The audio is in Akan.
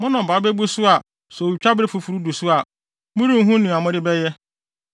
Mo nnɔbae bebu so a sɛ otwabere foforo du so a, morenhu nea mode bɛyɛ.